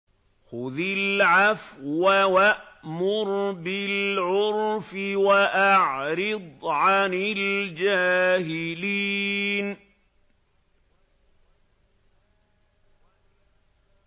خُذِ الْعَفْوَ وَأْمُرْ بِالْعُرْفِ وَأَعْرِضْ عَنِ الْجَاهِلِينَ